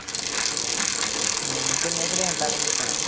ਹਮ ਕਿੰਨੇ ਕੁ ਦਿਨ ਤੱਕ ਵੇਚਣਾ